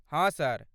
हँ, सर।